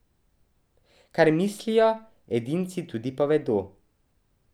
Kar mislijo, edinci tudi povedo.